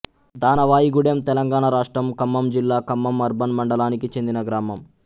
దానవాయిగూడెం తెలంగాణ రాష్ట్రంఖమ్మం జిల్లా ఖమ్మం అర్బన్ మండలానికి చెందిన గ్రామం